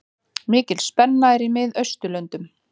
Mikil spenna er í Miðausturlöndum.